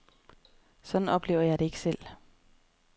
Sådan oplever jeg det ikke selv.